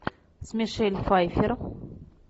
с мишель пфайффер